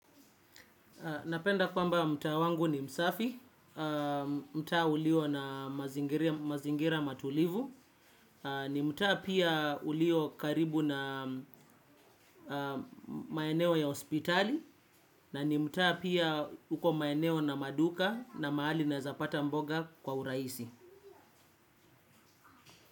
Napenda kwamba mtaa wangu ni msafi, mtaa ulio na mazingira matulivu, ni mtaa pia ulio karibu na maeneo ya hospitali, na ni mtaa pia uko maeneo na maduka na mahali naweza pata mboga kwa urahisi.